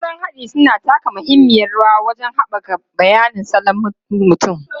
Na'urorin haɗi suna taka muhimmiyar rawa wajen haɓaka bayanin salon mutum.